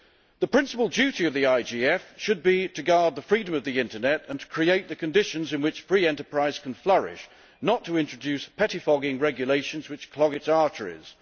The principal duty of the IGF should be to guard the freedom of the internet and to create the conditions in which free enterprise can flourish, not to introduce pettifogging regulations which clog its arteries.